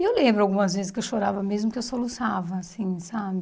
E eu lembro algumas vezes que eu chorava mesmo, que eu soluçava, assim, sabe?